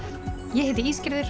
ég heiti